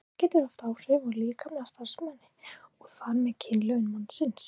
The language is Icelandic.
Margt getur haft áhrif á líkamlega starfsemi og þar með kynlöngun mannsins.